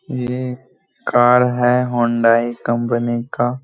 ये कार है Hyundai company का।